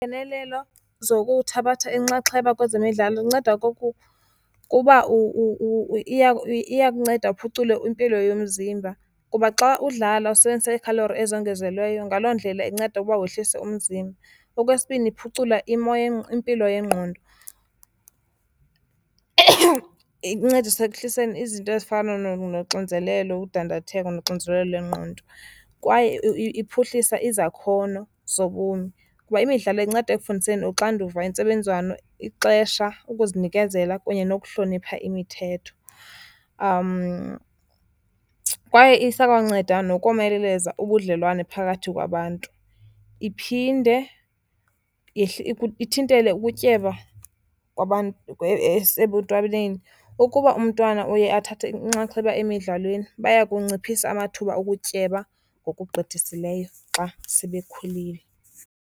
Iingenelelo zokuthabatha inxaxheba kwezemidlalo kunceda okokuba iyakunceda uphucule impilo yomzimba kuba xa udlala usebenzisa iikhalori ezongezelweyo, ngaloo ndlela inceda uba wehlise umzimba. Okwesibini, iphucula impilo yengqondo, incedisa ekuhliseni izinto ezifana noxinzelelo, ukudandatheka, noxinzelelo lwengqondo. Kwaye iphuhlisa izakhono zobomi kuba imidlalo inceda ekufundiseni uxanduva, intsebenziswano, ixesha, ukuzinikezela kunye nokuhlonipha imithetho. Kwaye isakwanceda nokomeleza ubudlelwane phakathi kwabantu, iphinde ithintele ukutyeba kwabantu esebuntwaneni. Ukuba umntwana uye athathe inxaxheba emidlalweni bayakunciphisa amathuba okutyeba ngokugqithisileyo xa sebekhulile.